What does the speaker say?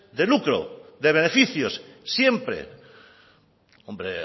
de lucro de beneficios siempre hombre